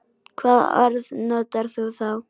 Hvaða orð notar þú þá?